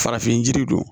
Farafin jiri don